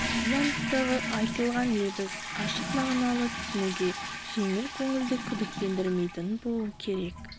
тіл анықтығы айтылған лебіз ашық мағыналы түсінуге жеңіл көңілді күдіктендірмейтін боуы керек